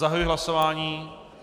Zahajuji hlasování.